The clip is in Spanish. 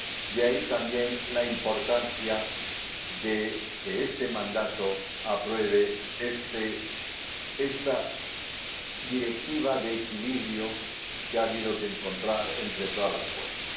De ahí también la importancia de que en esta legislatura se apruebe esta Directiva de equilibrio que ha habido que encontrar entre todas las fuerzas.